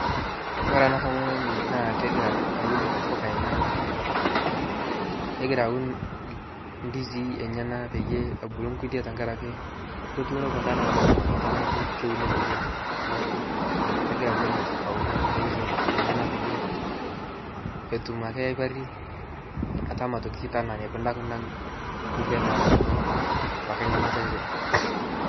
kore anaa tomononii naa kegiraa awun mpukaa enyanaa kegiraa awun ndizii enyanaa peiyee ebuluu nkulie tankarakee kotuuno kundaa netabauwa ngamataa naaku keunii nkulie naaku kegiraa awun ntokitin enyanaa peiyie etum akee aiparii atamaa otokii atama tanaa neikuna kunda nkulie natuuno apakee ngamata enshee